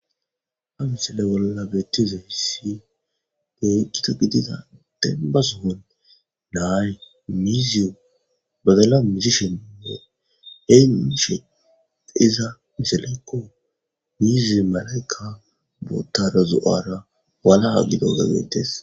Ha misaley bolla beettizayssi keh gita gidida denba sohon na'ay miiziyo badala misishininne enshe iza misalaykko mizemalayka bootara zo'ora walaha gidoge bettees.